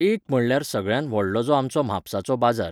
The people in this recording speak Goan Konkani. एक म्हणल्यार सगळ्यांत व्हडलो जो आमचो म्हापसाचो बाजार.